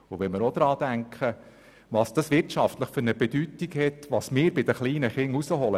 Denken wir auch daran, welche wirtschaftliche Bedeutung es für die Zukunft hat, was wir aus den kleinen Kindern herausholen!